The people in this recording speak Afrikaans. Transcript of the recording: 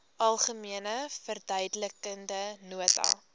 algemene verduidelikende nota